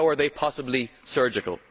How are they possibly surgical?